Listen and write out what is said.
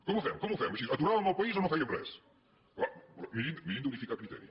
com ho fem com ho fem així aturàvem el país o no fèiem res clar mirin d’unificar criteri